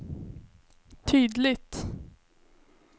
tydligt